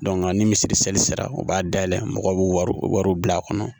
ni misirili sera u b'a dayɛlɛ mɔgɔw b'u wari wariw bila a kɔnɔ